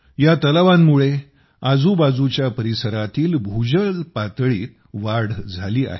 या तलावांमुळे आजूबाजूच्या परिसरातील भूजल पातळीत वाढ झाली आहे